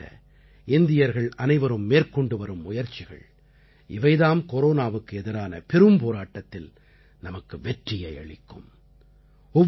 கொரோனாவைத் தடுக்க இந்தியர்கள் அனைவரும் மேற்கொண்டுவரும் முயற்சிகள் இவை தாம் கொரோனாவுக்கு எதிரான பெரும்போராட்டத்தில் நமக்கு வெற்றியை அளிக்கும்